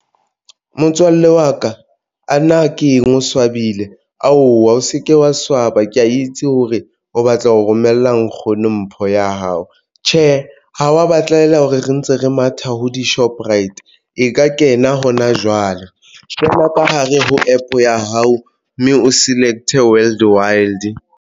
Motswalle wa ka a na ke eng o swabile aowa o se ke wa swaba. Ke itse hore o batla ho romella nkgono mpho ya hao tjhe, ho wa batlela hore re ntse re matha ho di-Shoprite. E ka kena hona jwale feela ka hare ho APP oya hao mme o select Wild World.